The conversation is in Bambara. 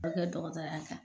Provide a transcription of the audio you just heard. O kɛ dɔgɔtɔɔrɔya kan